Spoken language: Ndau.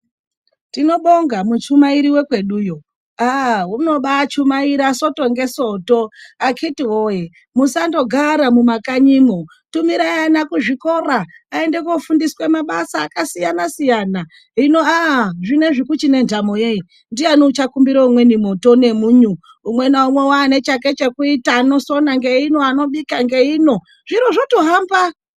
Tinobonga muchumairi wekweduwo unobachumaira soto ngesoto akiti woye musangogara mumakanyimo tumirai ana muzvikora aende kundofundiswa mabasa akasiyana-siyana hino zvinezvi kuchiri ngendamo yei ndiani achakumbira umweni moto ngemunyu umwe naumwe wane chake chokuita anosona ngeino anobika ngeino. Zviro zvotohamba.